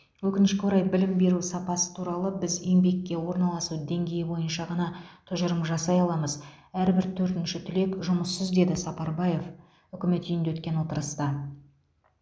өкінішке орай білім беру сапасы туралы біз еңбекке орналасу деңгейі бойынша ғана тұжырым жасай аламыз әрбір төртінші түлек жұмыссыз деді сапарбаев үкімет үйінде өткен отырыста